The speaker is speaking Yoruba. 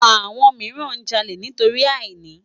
Awòn mirán jàlé nitóri àínì